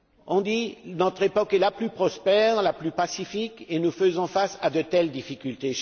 On dit que notre époque est la plus prospère, la plus pacifique et nous faisons face à de telles difficultés.